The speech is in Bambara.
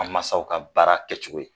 An mansaw ka baara kɛcogo ye